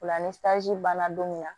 O la ni banna don min na